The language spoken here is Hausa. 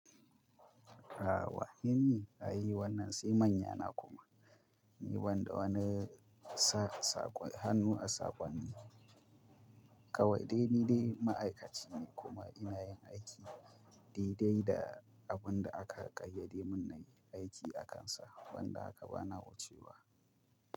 Aah wane, ni ai wannan sai manya na kuma. Ni banda wani sa-sakwai hannu a sakonni. Kawai dai ni dai ma'aikaci ne kuma ina yin aiki daidai da abun da aka ƙayyade mun na yi aiki akansa. Ban da haka bana wucewa.